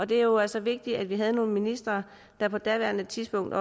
det er jo altså vigtigt at vi havde nogle ministre der på daværende tidspunkt